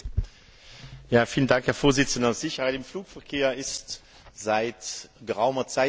Herr Präsident! Sicherheit im Flugverkehr ist seit geraumer Zeit Thema im Parlament.